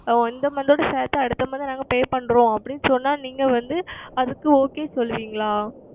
இந்த Month உடன் சேத்து அடுத்த Month நாங்கள் Pay செய்கிறோம் அப்படி என்று சொன்னால் நீங்கள் வந்து அதற்கு Okay சொல்லுவீர்களா